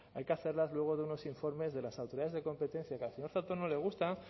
hay que hacerlas luego de unos informes de las autoridades de competencia que al no le gusta